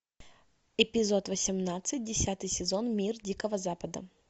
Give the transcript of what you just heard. эпизод восемнадцать десятый сезон мир дикого запада